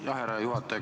Aitäh, härra juhataja!